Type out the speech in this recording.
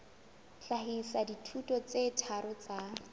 hlahisa dithuto tse tharo tsa